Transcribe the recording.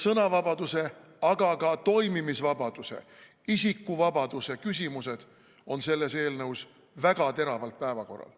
Sõnavabaduse, aga ka toimimisvabaduse, isikuvabaduse küsimused on selles eelnõus väga teravalt päevakorral.